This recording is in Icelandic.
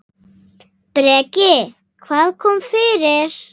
Breki: Hvað kom fyrir?